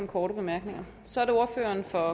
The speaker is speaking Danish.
korte bemærkninger så er det ordføreren for